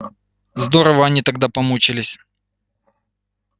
здорово они тогда помучились